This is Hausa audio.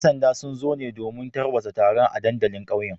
‘Yan sanda sun zo ne domin tarwatsa taron a dandalin kauyen